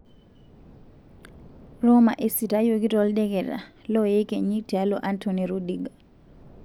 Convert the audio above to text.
Roma esitayioki toldeketa 'loyekenyi' tialo Antony Rudiger.